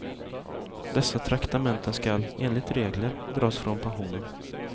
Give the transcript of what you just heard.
Dessa traktamenten ska, enligt reglerna, dras från pensionen.